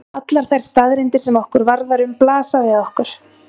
Allar þær staðreyndir sem okkur varðar um blasa við okkur.